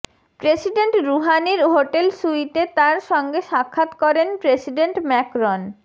president রুহানির hotel স্যুইটে তার সঙ্গে সাক্ষাৎ করেন প্রেসিডেন্ট ম্যাকরন